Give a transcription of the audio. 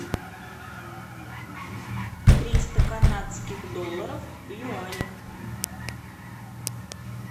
триста канадских долларов в юанях